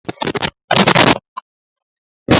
Chika na-akpụ ntutu ya ugbu a.